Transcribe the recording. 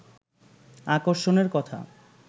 আকর্ষণের কথা